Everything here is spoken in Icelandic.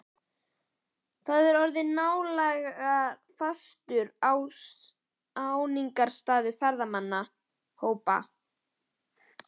Þar er orðinn nálega fastur áningarstaður ferðamannahópa.